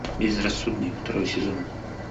безрассудный второй сезон